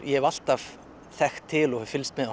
ég hef alltaf þekkt til og fylgst með